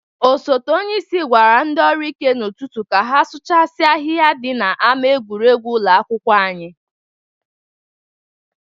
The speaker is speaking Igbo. Osote onyeisi gwara ndị ọrụ ike n'ụtụtụ ka ha sụchasia ahịha dị n'ama egwuregwu ụlọ akwụkwọ anyị!